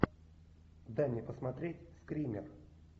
дай мне посмотреть скример